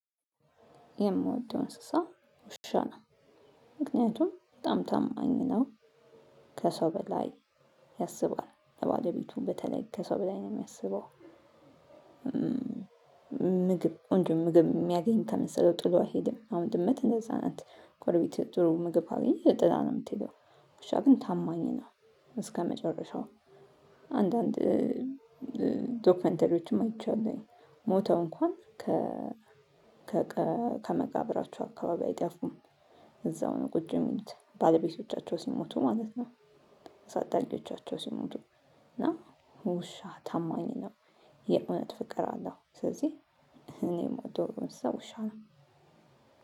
የምወደው እንስሳ ውሻ ነው ምክንያቱም በጣም ታማኝ ነው ከሰው በላይ ያስባል ለባለቤቱ በተለይ ከሰው በላይ ነው የሚያስበው። ምግብ ቆንጆ ምግብ የሚያገኝ ከመሰለው ጥሎ አይሄድም አሁን ድመት እንደዛ ናት ጎሮቤት ጥሩ ምግብ ካገኘ ጥላ ነው የምትሄደው። ውሻ ግን ታማኝ ነው እስከመጨረሻው። አንዳንድ ዶክመንተሪዎችም አይቻለሁኝ ሞተው እንኳን ከመቃብራቸው አካባቢ አይጠፉም እዛው ነው ቁጭ ሚሉት ባለቤቶቻቸው ሲሞቱ ማለት ነው። ዳጊዎቻቸው ሲሞቱ እና ውሻ ታማኝ ነው። የእውነት ፍቅር አለው። ስለዚህ እኔ የምወደው እንስሳ ውሻ ነው።